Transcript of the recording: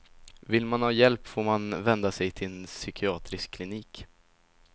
Vill man ha hjälp får man vända sig till en psykiatrisk klinik.